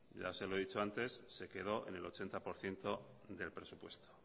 ya se lo he dicho antes se quedó en el ochenta por ciento del presupuesto